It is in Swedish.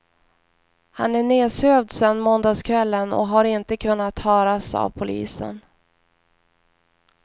Han är nedsövd sedan måndagskvällen och har inte kunnat höras av polisen.